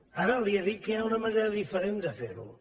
ara li he dit que hi ha una manera diferent de fer ho